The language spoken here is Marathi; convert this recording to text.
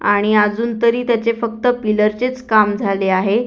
आणि अजून तरी त्याचे फक्त पिलर चेच काम झाले आहे.